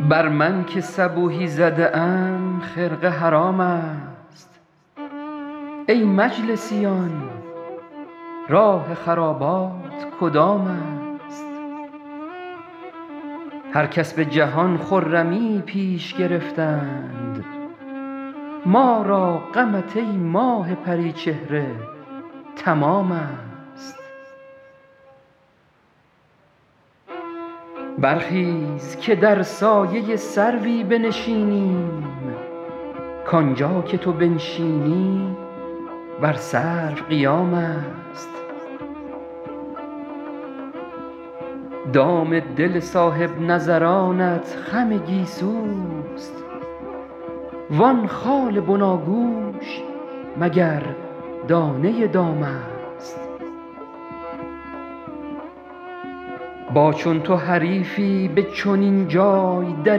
بر من که صبوحی زده ام خرقه حرام است ای مجلسیان راه خرابات کدام است هر کس به جهان خرمیی پیش گرفتند ما را غمت ای ماه پری چهره تمام است برخیز که در سایه سروی بنشینیم کانجا که تو بنشینی بر سرو قیام است دام دل صاحب نظرانت خم گیسوست وان خال بناگوش مگر دانه دام است با چون تو حریفی به چنین جای در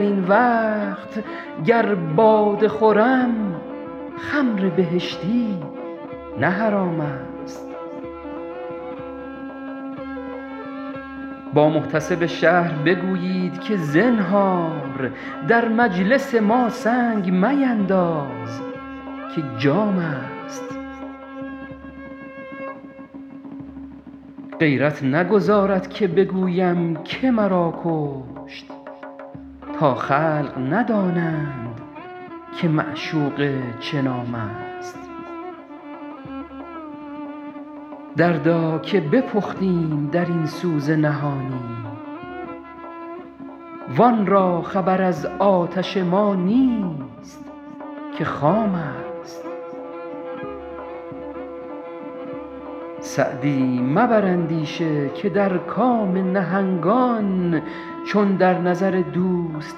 این وقت گر باده خورم خمر بهشتی نه حرام است با محتسب شهر بگویید که زنهار در مجلس ما سنگ مینداز که جام است غیرت نگذارد که بگویم که مرا کشت تا خلق ندانند که معشوقه چه نام است دردا که بپختیم در این سوز نهانی وان را خبر از آتش ما نیست که خام است سعدی مبر اندیشه که در کام نهنگان چون در نظر دوست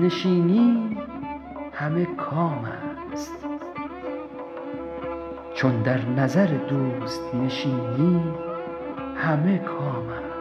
نشینی همه کام است